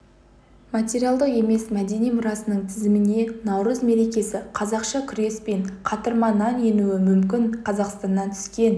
материалдық емес мәдени мұрасының тізіміне наурыз мерекесі қазақша күрес пен қатырма нан енуі мүмкін қазақстаннан түскен